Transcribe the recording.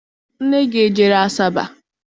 Nne gị ejere Asaba?